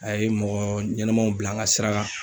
A ye mɔgɔ ɲɛnɛmaw bila n ka sira kan.